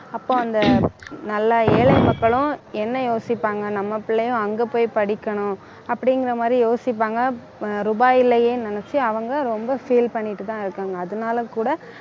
அப்போ அந்த நல்லா ஏழை மக்களும் என்ன யோசிப்பாங்க நம்ம பிள்ளையும் அங்க போய் படிக்கணும் அப்படிங்கிற மாதிரி யோசிப்பாங்க ஆஹ் ரூபாய் இல்லையே நினைச்சு அவங்க ரொம்ப feel பண்ணிட்டு தான் இருக்காங்க அதனால கூட